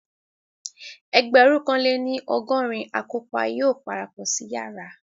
Ẹgbẹ̀rún kan lé ní ọgọrin akọ́pa yóò parapọ̀ sí yàrá